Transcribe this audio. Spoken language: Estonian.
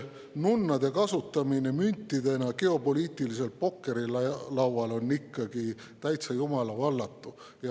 Nunnade kasutamine müntidena geopoliitilisel pokkerilaual on ikkagi täitsa jumalavallatu.